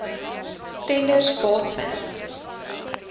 tenders baat vind